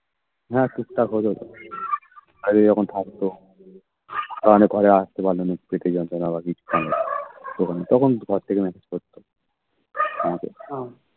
হ্যাঁ টুকটাক হয়ে যেত কাজে যখন থাকত তখন ধরো ঘরে আস্তে পারলো না পেটে যন্ত্রনা বা কিছু হলো তখন তখন messages করতো আমাকে